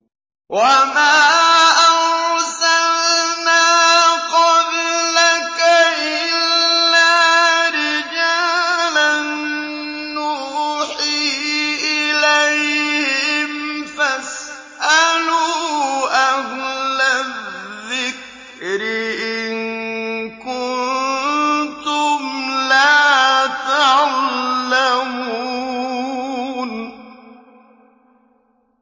وَمَا أَرْسَلْنَا قَبْلَكَ إِلَّا رِجَالًا نُّوحِي إِلَيْهِمْ ۖ فَاسْأَلُوا أَهْلَ الذِّكْرِ إِن كُنتُمْ لَا تَعْلَمُونَ